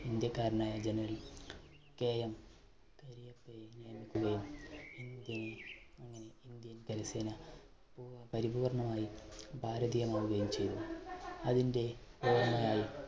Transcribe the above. ഇന്ത്യക്കാരനായ GeneralKM കരിയപ്പയെ നിയമിക്കുകയും ഇന്ത്യനെ അങ്ങനെ ഇന്ത്യൻ കരസേന പൂ പരിപൂർണ്ണമായി ഭാരതീയമാവുകയും ചെയ്തു അതിൻറെ ഓർമ്മയായി